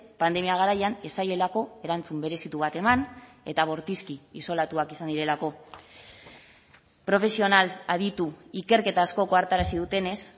pandemia garaian ez zaielako erantzun berezitu bat eman eta bortizki isolatuak izan direlako profesional aditu ikerketa askok ohartarazi dutenez